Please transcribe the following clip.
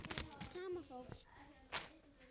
Sama fólk.